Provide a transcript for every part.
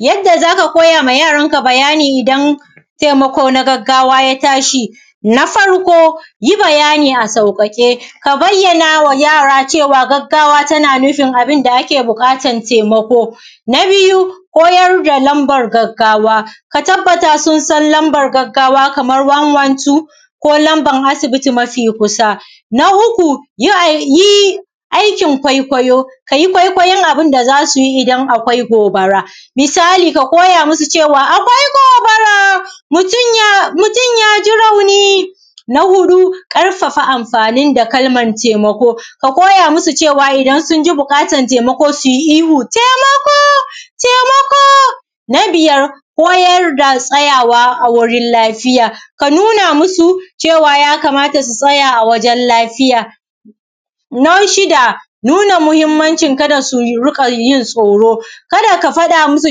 yadda za ka koya ma yaranka bayani don taimako na gaggawa ya tashi na farko yi bayani a sauƙaƙe ka bayyana wa yara cewa gaggawa tana nufin abunda ake buƙata taimako na biyu koyar da lamban gaggawa ka tabbata sun san lamba gaggawa kamar one one two ko lamba asibiti mafi kusa na uku yi aikin kwaikwayo ka yi kwaikwayin abunda za su yi idan akwai gobara misali ka koya masu cewa akwai gobara mutum yaji rauni na huɗu ƙarfafa amfani da kalman taimako ka koya masu cewa idan sun ji buƙatan taimako su yi ihu taimako taimako na biyar koyar da tsayawa a gurin lafiya ka nuna masu cewa ya kamata su tsaya a wajen lafiya na shida nuna muhimmanci kada su ruƙa yin tsoro kada ka faɗa masu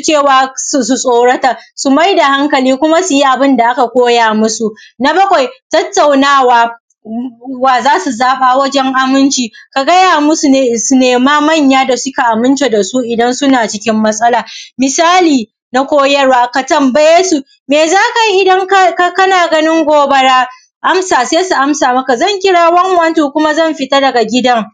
cewa su tsorata kuma su maida hankali kuma su yi abun da aka koya masu na bakwai tattauna wa wa za su zaɓa wajen aminci ka gaya masu ne su nemi manya da suka aminta da su idan suna cikin matsala misali na koyarwa ka tambaye su me za ka yi idan kana ganin gobara amsa sai su amsa maka zan kira one one two kuma zan fita daga gidan